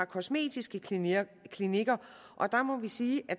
kosmetiske klinikker klinikker og der må vi sige at